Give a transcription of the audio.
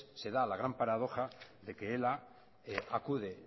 se da la gran paradoja de que ela acude